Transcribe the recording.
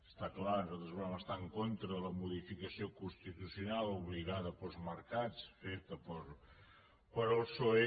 està clar nosaltres vam estar en contra de la modificació constitucional obligada pels mercats feta pel psoe